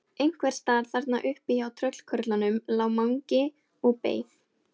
Einhversstaðar þarna uppi hjá tröllkörlunum lá Mangi og beið.